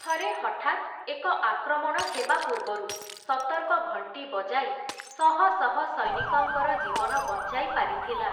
ଥରେ ହଠାତ୍ ଏକ ଆକ୍ରମଣ ହେବା ପୂର୍ବରୁ, ସତର୍କ ଘଣ୍ଟି ବଜାଇ, ଶହଶହ ସୈନିକଙ୍କର ଜୀବନ ବଞ୍ଚାଇ ପାରିଥିଲା ।